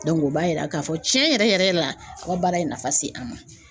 o b'a yira k'a fɔ tiɲɛ yɛrɛ yɛrɛ la a ka baara ye nafa se an ma.